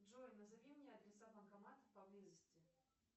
джой назови мне адреса банкоматов поблизости